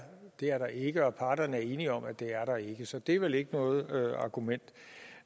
det er der ikke og parterne er enige om at det er der ikke så det er vel ikke noget argument